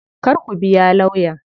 Kar ku biya lawyan.